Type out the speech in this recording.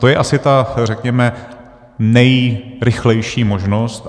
To je asi ta, řekněme, nejrychlejší možnost.